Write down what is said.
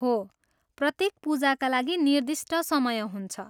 हो, प्रत्येक पूजाका लागि निर्दिष्ट समय हुन्छ।